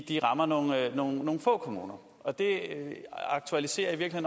er rammer nogle få kommuner og det aktualiserer i